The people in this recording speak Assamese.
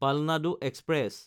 পালনাডু এক্সপ্ৰেছ